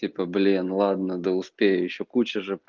типа блин ладно да успею ещё куча же